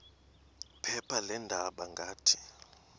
phepha leendaba ngathi